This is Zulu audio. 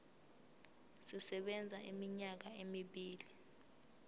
sisebenza iminyaka emibili